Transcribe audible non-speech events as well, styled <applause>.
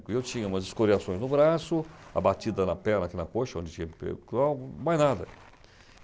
E eu tinha umas escoriações no braço, abatida na perna, aqui na coxa, onde tinha, <unintelligible> mas nada.